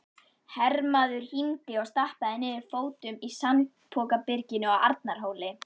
Hermaður hímdi og stappaði niður fótum í sandpokabyrginu á Arnarhóli.